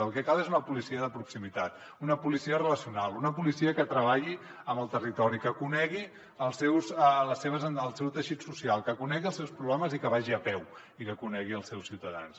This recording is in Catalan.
el que cal és una policia de proximitat una policia relacional una policia que treballi amb el territori que conegui el seu teixit social que conegui els seus problemes i que vagi a peu i que conegui els seus ciutadans